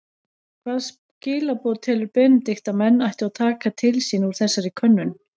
Hvaða skilaboð telur Benedikt að menn ættu að taka til sín úr þessari könnun?